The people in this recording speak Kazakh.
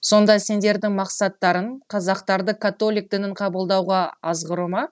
сонда сендердің мақсаттарың қазақтарды католик дінін қабылдауға азғыру ма